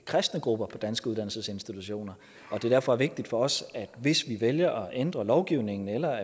kristne grupper på danske uddannelsesinstitutioner og at det derfor er vigtigt for os at hvis vi vælger at ændre lovgivningen eller